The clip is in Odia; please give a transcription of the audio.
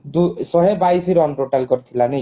ଯୋ ଶହେ ବାଇଶି run total କରିଥିଲା ନାଇ କି